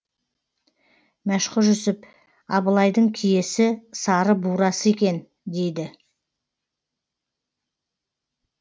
мәшһүр жүсіп абылайдың киесі сары бурасы екен дейді